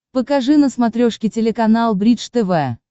покажи на смотрешке телеканал бридж тв